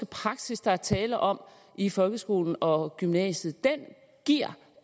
praksis der er tale om i folkeskolen og gymnasiet giver